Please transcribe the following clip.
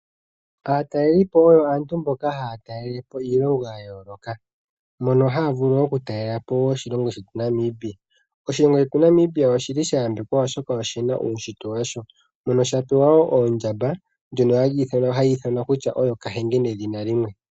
Aatalelipo oyo aantu mboka haya talelepo iilongo ya yooloka . Mbono haya vulu oku talela po woo oshilongo shetu Namibia. Oshilongo shetu Namibia oshili sha yambekwa oshoka oshina uushitwe washo . Mono sha pewa woo Ondjamba ndjono hayi ithanwa Kahenge nedhina limwe.